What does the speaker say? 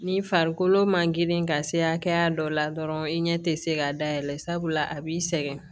Ni farikolo ma girin ka se hakɛya dɔ la dɔrɔn i ɲɛ tɛ se k'a dayɛlɛ sabula a b'i sɛgɛn